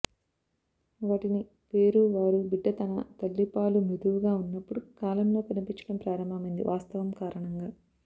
వాటిని పేరు వారు బిడ్డ తన తల్లి పాలు మృదువుగా ఉన్నప్పుడు కాలంలో కనిపించడం ప్రారంభమైంది వాస్తవం కారణంగా